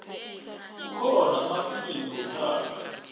kukhona amafilimu wethando